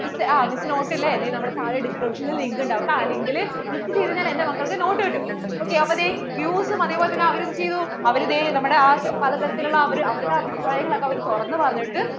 ആ miss, notes അല്ലെ ദേ നമ്മേടെ താഴെ description link ഉണ്ടാവും ട്ടാ ആ link ൽ click ചെയ്തു കഴിഞ്ഞാൽ എന്‍റെ മക്കൾക്കു note കിട്ടും ok അപ്പൊ ദേ views ഉം അതേപോലെ തന്നേ അവർ എന്ത്‌ചെയ്തു അവർ ദേ നമ്മടെ ആ പലതരത്തില്‍ ഉള്ള അവരുടെ അഭിപ്രായങ്ങൾ ഓക്കേ തുറന്നു പറഞ്ഞിട്ട്